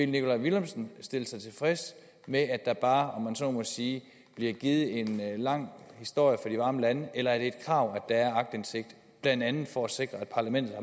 nikolaj villumsen stille sig tilfreds med at der bare om man så må sige bliver givet en lang historie fra de varme lande eller er det et krav at der er aktindsigt blandt andet for at sikre at parlamentet